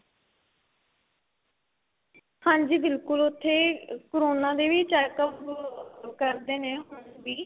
ਹਾਂਜੀ ਬਿਲਕੁਲ ਉੱਥੇ corona ਦੇ ਵੀ checkup ਕਰਦੇ ਨੇ ਹੁਣ ਵੀ